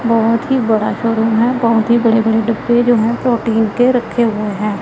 बहोत ही बड़ा शोरूम है बहोत ही बड़े बड़े डिब्बे जो है प्रोटीन के रखे हुए हैं।